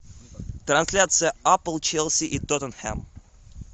трансляция апл челси и тоттенхэм